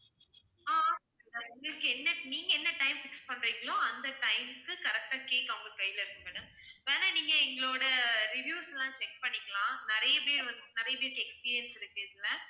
ஆஹ் உங்களுக்கு என்ன~ நீங்க என்ன time fix பண்றீங்களோ அந்த time க்கு correct ஆ cake அவங்க கையில இருக்கும் madam வேணும்னா நீங்க எங்களோட reviews லாம் check பண்ணிக்கலாம் நிறைய பேர் வந்~ நிறைய பேருக்கு experience இருக்கு இதுல